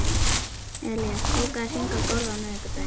Elías, bókaðu hring í golf á miðvikudaginn.